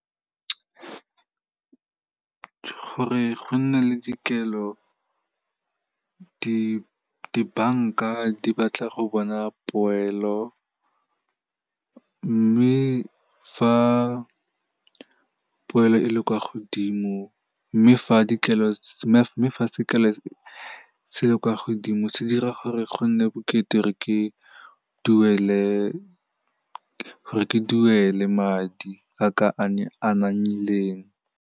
Gore go nne le dikelo, dibanka di batla go bona poelo, mme fa poelo e le kwa godimo, mme fa sekelo se le kwa godimo se dira gore go nne bokete gore ke duele madi a ka .